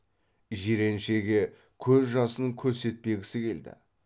жиреншеге көз жасын көрсетпегісі келді